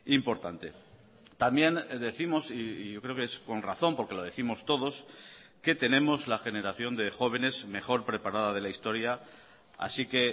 importante también décimos y yo creo que es con razón porque lo décimos todos que tenemos la generación de jóvenes mejor preparada de la historia así que